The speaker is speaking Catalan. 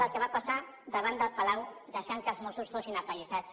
del que va passar davant del palau deixant que els mossos fossin apallissats